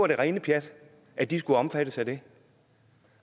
det rene pjat at de skulle omfattes af det